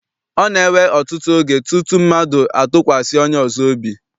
Ọ na-ewe ọtụtụ oge tutu mmadụ atụkwasị onye ọzọ obi.